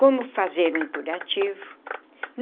Como fazer um curativo.